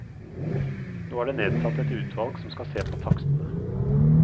Nå er det nedsatt et utvalg som skal se på takstene.